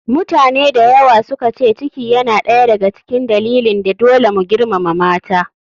Mutane dayawa suka ce ciki yana ɗaya da ga cikin dalilin da dole mu girmama mata.